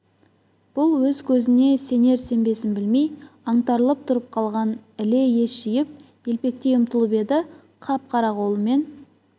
бұл өз көзіне сенер-сенбесін білмей аңтарылып тұрып қалған іле ес жиып елпелектей ұмтылып еді қап-қара қолымен